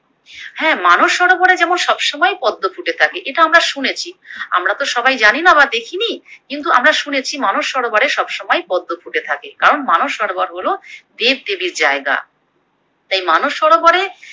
হ্যাঁ মানস সরোবরে যেমন সবসময় পদ্ম ফুটে থাকে এতো আমরা শুনেছি, আমরাতো সবাই জানিনা বা দেখিনি কিন্তু আমরা শুনেছি মানস সরোবরে সবসময় পদ্ম ফুটে থাকে, কারণ মানস সরোবর হলো দেবদেবীর জায়গা। তাই মানস সরোবরে